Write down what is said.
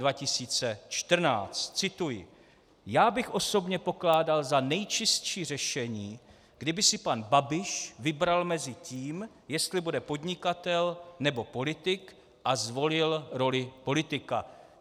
Cituji: Já bych osobně pokládal za nejčistší řešení, kdyby si pan Babiš vybral mezi tím, jestli bude podnikatel, nebo politik, a zvolil roli politika.